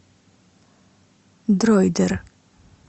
дроидер